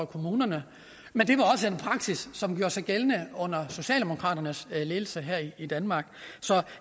kommunerne men det var også en praksis som gjorde sig gældende under socialdemokraternes ledelse her i danmark så